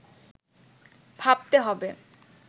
ভাবতে হবে